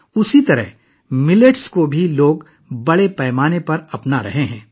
اسی طرح لوگ بڑے پیمانے پر جوار کو اپنا رہے ہیں